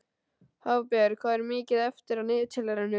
Hafberg, hvað er mikið eftir af niðurteljaranum?